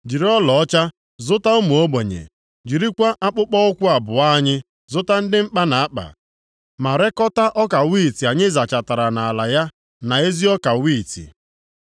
Jiri ọlaọcha zụta ụmụ ogbenye, jirikwa akpụkpọụkwụ abụọ anyị zụta ndị mkpa na-akpa, ma reekọta ọka wiiti anyị zachatara nʼala ya na ezi ọka wiiti.